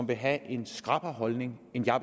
vil have en skrappere holdning end jeg